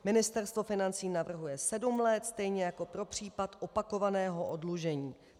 Ministerstvo financí navrhuje sedm let, stejně jako pro případ opakovaného oddlužení.